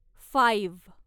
five